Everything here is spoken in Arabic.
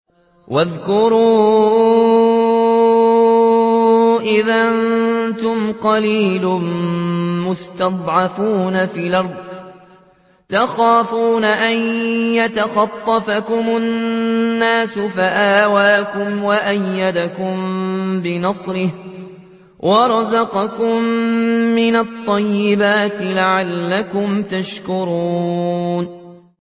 وَاذْكُرُوا إِذْ أَنتُمْ قَلِيلٌ مُّسْتَضْعَفُونَ فِي الْأَرْضِ تَخَافُونَ أَن يَتَخَطَّفَكُمُ النَّاسُ فَآوَاكُمْ وَأَيَّدَكُم بِنَصْرِهِ وَرَزَقَكُم مِّنَ الطَّيِّبَاتِ لَعَلَّكُمْ تَشْكُرُونَ